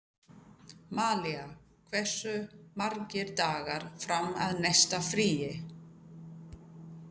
Malía, hversu margir dagar fram að næsta fríi?